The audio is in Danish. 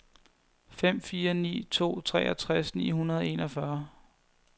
fem fire ni to treogtres ni hundrede og enogfyrre